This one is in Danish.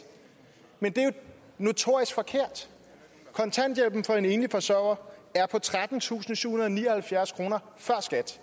men det er jo notorisk forkert kontanthjælpen for en enlig forsørger er på trettentusinde og syvhundrede og nioghalvfjerds kroner før skat